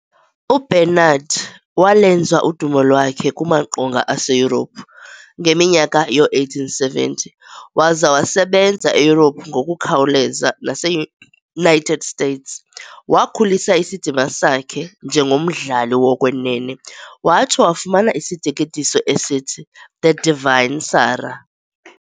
UBernhardt walwenza udumo lwakhe kumaqonnga aseYurophu ngeminyaka yoo1870, waza wasebenza eYurophu ngokukhawuleza naseUnited States. Wakhulisa isidima sakhe njengomdlali wokwenene, watsho wafumana isiteketiso esithi "The Divine Sarah."